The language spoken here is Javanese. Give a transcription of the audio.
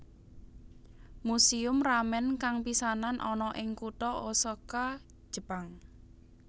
Museum Ramen kang pisanan ana ing kutha Osaka Jepang